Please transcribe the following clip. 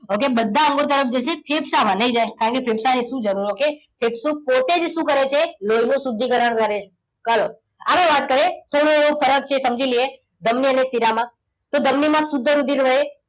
okay બધા અંગો તરફ જશે ફેફસામાં નહીં જાય. કારણ કે ફેફસાને શું જરૂર? okay ફેફસુ પોતે જ શું કરે છે? લોહીનું શુદ્ધિકરણ કરે છે. ચાલો આગળ વાત કરીએ તો ફરક છે એ સમજી લઈએ ધમની અને શિરામાં. તો ધમની માં શુદ્ધ રુધિર વહે.